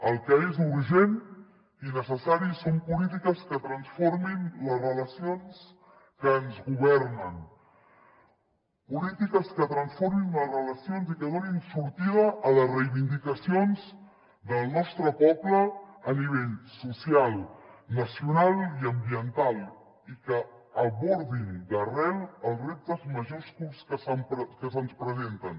el que és urgent i necessari són polítiques que transformin les relacions que ens governen polítiques que transformin les relacions i que donin sortida a les reivindicacions del nostre poble a nivell social nacional i ambiental i que abordin d’arrel els reptes majúsculs que se’ns presenten